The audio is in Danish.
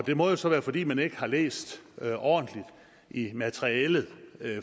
det må jo så være fordi man ikke har læst ordentligt i materialet